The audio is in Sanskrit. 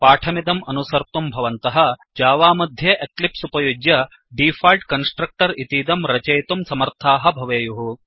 पाठमिदम् अनुसर्तुं भवन्तः जावा मध्ये एक्लिप्स् उपयुज्य डीफ़ाळ्ट् कन्स्ट्रक्टर् इतीदं रचयितुं समर्थाः भवेयुः